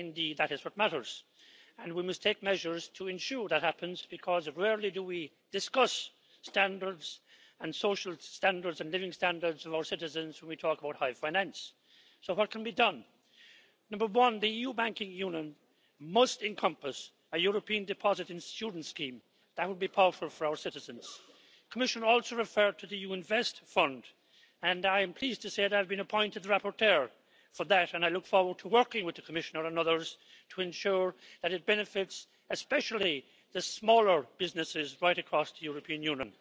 Indeed, that is what matters, and we must take measures to ensure that happens, because rarely do we discuss the social and living standards of our citizens when we talk about high finance. So what can be done? Number one the EU Banking Union must encompass a European deposit insurance scheme that would be powerful for our citizens. The Commissioner also referred to the EU Invest Fund, and I am pleased to say that I have been appointed rapporteur for that, and I look forward to working with the Commissioner and others to ensure that it benefits especially the smaller businesses right across the European Union.